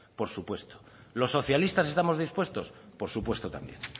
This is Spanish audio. por supuesto los socialistas estamos dispuestos por supuesto también